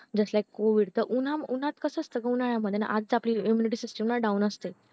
just like covid च उन्हात उन्हात कास असत उन्हाळ्यामध्ये आधीच आपली immunity system down असते